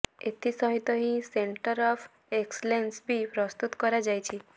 ଏଥିସହିତ ହିଁ centre of excellence ବି ପ୍ରସ୍ତୁତ କରାଯାଇଛି